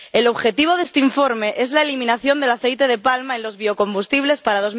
El objetivo de este informe es la eliminación del aceite de palma en los biocombustibles para